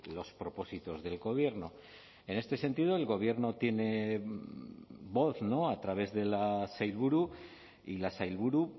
los propósitos del gobierno en este sentido el gobierno tiene voz no a través de la sailburu y la sailburu